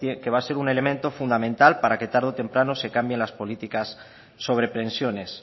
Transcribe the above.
que va a ser un elemento fundamental para que tarde o temprano se cambien las políticas sobre pensiones